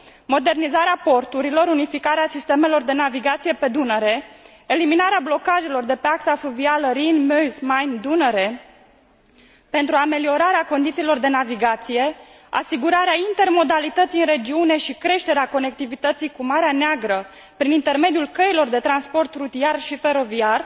Modernizarea porturilor, unificarea sistemelor de navigație pe Dunăre, eliminarea blocajelor de pe axa fluvială Rin Meuse Main Dunăre pentru ameliorarea condițiilor de navigație, asigurarea intermodalității în regiune și creșterea conectivității cu Marea Neagră, prin intermediul căilor de transport rutier și feroviar,